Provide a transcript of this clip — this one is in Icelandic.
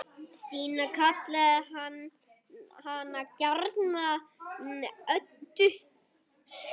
Stína kallaði hana gjarnan Öddu.